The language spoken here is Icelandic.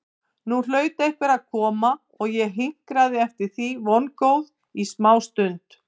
Nú hlaut einhver að koma og ég hinkraði eftir því vongóð í smástund.